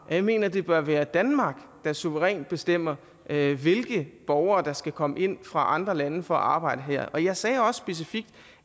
at jeg mener det bør være danmark der suverænt bestemmer hvilke borgere der skal komme ind fra andre lande for at arbejde her og jeg sagde også specifikt